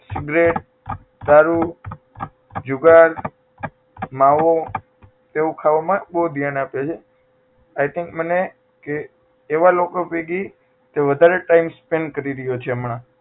cigarette, દારૂ, જુગાર, માવો તેવું ખાવામાં બહુ ધ્યાન આપે છે I think બને કે એવા લોકો ભેગી તે વધારે time spend કરી રહ્યો છે હમણાં